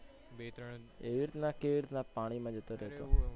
એવી રીતના કેવી રીતના પાણી માં જતો રેતો?